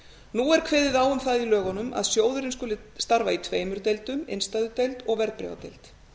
nú er kveðið á um það í lögunum að sjóðurinn skuli starfa í tveimur deildum innstæðudeild og verðbréfadeild